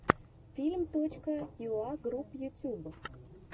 фильм точка юа групп ютуб